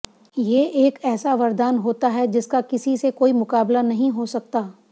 ये एक ऐसा वरदान होता है जिसका किसी से कोई मुकाबला नहीं हो सकता